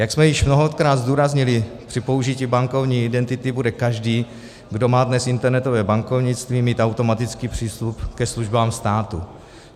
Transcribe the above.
Jak jsme již mnohokrát zdůraznili, při použití bankovní identity bude každý, kdo má dnes internetové bankovnictví, mít automatický přístup ke službám státu.